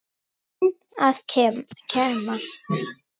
Það er minninu að kenna.